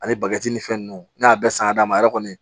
Ani bagi ni fɛn ninnu ne y'a bɛɛ san ka d'a ma a yɛrɛ kɔni